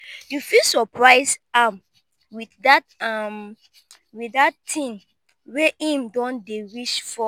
yu fit soprise am wit dat am wit dat tin wey em don dey wish for